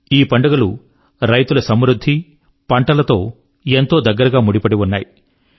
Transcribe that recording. ఈ పండుగలు రైతుల సమృద్ధి మరియు పంటలతో ఎంతో దగ్గరగా ముడిపడి ఉన్నాయి